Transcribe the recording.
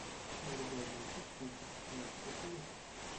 врубай мультик стыд восемнадцатый эпизод